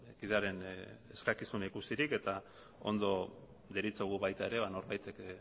kidearen eskakizuna ikusirik eta ondo deritzogu baita ere norbaitek